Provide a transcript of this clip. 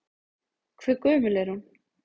Hve gömul er hún?